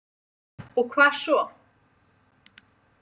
Og hvað svo?